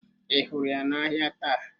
Ị hụrụ ya n'ahịa taa?